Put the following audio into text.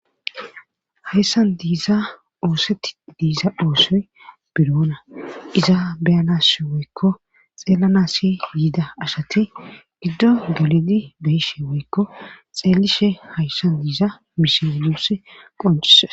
Hayssan diiza oosetti diiza oosoy biroona iza beyanas woykko xeellanassi yiida ashati giddo geledi beyishe woykko xeelishe hayssan diiza miseo yuussi qoncise